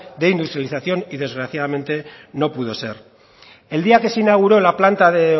de industrialización y desgraciadamente no pudo ser el día que se inauguró la planta de